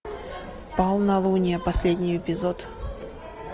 полнолуние последний эпизод